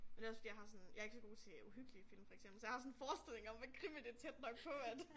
Men det også fordi jeg har sådan jeg ikke så god til uhyggelige film for eksempel så jeg har sådan en forestilling om at krimi det tæt nok på at